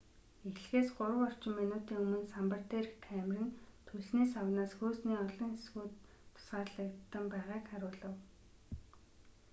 эхлэхээс 3 орчим минутын өмнө самбар дээрх камер нь түлшний савнаас хөөсний олон хэсгүүд тусгаарлагдан байгааг харуулав